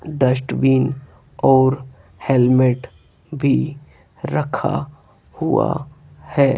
Dustbin और helmet भी रखा हुआ है।